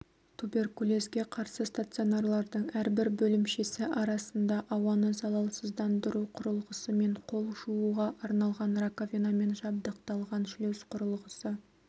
туберкулезге қарсы стационарлардың әрбір бөлімшесі арасында ауаны залалсыздандыру құрылғысымен қол жууға арналған раковинамен жабдықталған шлюз құрылғысы